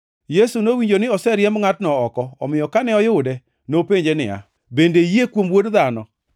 Yesu nowinjo ni ne oseriemb ngʼatno oko, omiyo kane oyude, nopenje niya, “Bende iyie kuom Wuod Dhano?”